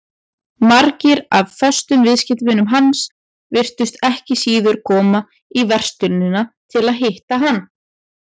Margir af föstum viðskiptavinum hans virtust ekki síður koma í verslunina til að hitta hann.